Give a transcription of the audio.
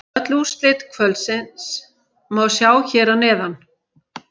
Öll úrslit kvöldsins má sjá hér að neðan